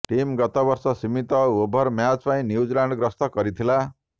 team ଗତ ବର୍ଷ ସୀମିତ ଓଭର ମ୍ୟାଚ୍ ପାଇଁ ନ୍ୟୁଜିଲ୍ୟାଣ୍ଡ ଗସ୍ତ କରିଥିଲା